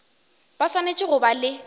ba swanetše go ba le